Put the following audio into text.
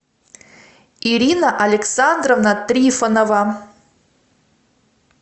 ирина александровна трифонова